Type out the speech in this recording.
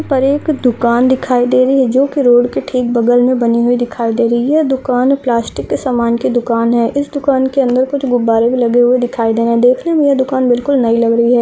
यह पर एक दुकान दिखाई दे रही है जो की रोड के ठीक बगल मे बनी हुई दिखाई दे रही है ये दुकान प्लास्टिक के समान की दुकान है इस दुकान के अंदर कुछ गुब्बारे भी लगे हुए दिखाई देरे देखने मे ये दुकान बिल्कुल नई लग रही है।